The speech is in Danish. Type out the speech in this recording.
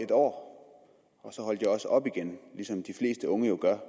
år og så holdt jeg også op igen ligesom de fleste unge jo gør